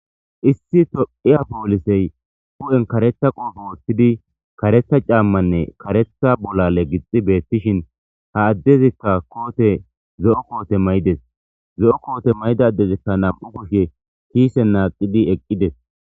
Issi tophiya polisey hu'iyan karetha qophe wotidi karetha c'amanne karetha bulale gixi betishin ha adezika kotey zo'o kote ma'ides zo'o kote mayida adezika nam'u kushe kisen naqidi eqides.